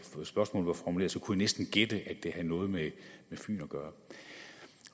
kunne jeg næsten gætte at det havde noget med fyn at gøre